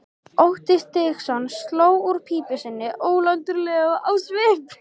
Otti Stígsson sló úr pípu sinni ólundarlegur á svip.